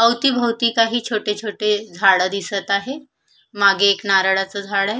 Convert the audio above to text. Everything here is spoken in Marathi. अवतीभोवती काही छोटे छोटे झाड दिसत आहे मागे एक नारळच झाड आहे.